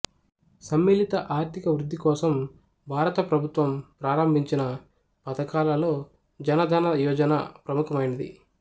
సమ్మిళిత ఆర్థిక వృద్ధి కోసం భారత ప్రభుత్వం ప్రారంబించిన పథకాలలో జన ధన యోజన ప్రముఖమైనది